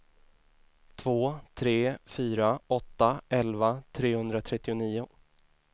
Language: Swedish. två tre fyra åtta elva trehundratrettionio